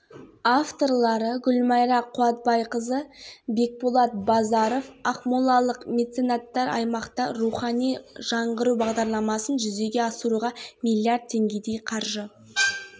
қазіргі таңда ақмола облысында тәрбие және білім рухани қазына атамекен ақпарат толқыны сынды аймақтық бағдарламалар қолға